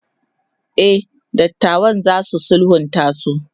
e datawan zasu sulhunta su